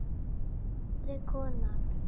spurði konan.